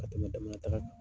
Ka tɛmɛ damanda taga kan